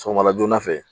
Sɔgɔma joona fɛ